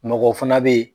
Mɔgɔw fana bɛ yen